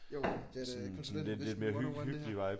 Jo det er da konsulentvesten 101 det her